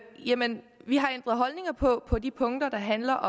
vi har ændret holdning på på de punkter der handler